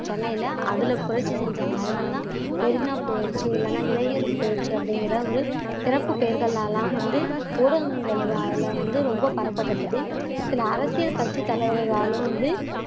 சென்னையில அதுல புரட்சி செஞ்சாங்க அதனாலதான் மெரினா புரட்சி இல்லைன்னா இளைஞர் புரட்சி அப்படிங்கிற ஒரு சிறப்பு பெயர்கள்லலாம் வந்து ஊடகங்களால வந்து ரொம்ப பரப்பப்பட்டது சில அரசியல் கட்சி தலைவர்களாலும் வந்து